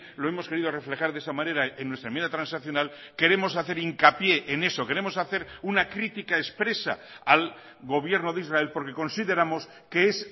lo hemos querido reflejar de esa manera en nuestra enmienda transaccional queremos hacer hincapié en eso queremos hacer una crítica expresa al gobierno de israel porque consideramos que es